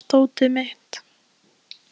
Rikka, hvar er dótið mitt?